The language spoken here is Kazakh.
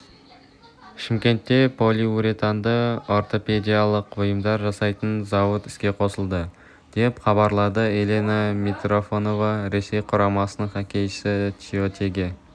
шымкентте полиуретанды ортопедиялық бұйымдар жасайтын зауыт іске қосылды деп хабарлады елена митрофанова ресей құрамасының хоккейшісі тиотеге